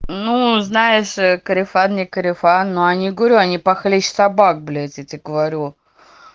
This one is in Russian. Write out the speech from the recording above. ну знаешь корефан не корефан но они говорю они похлеще собак блять я тебе говорю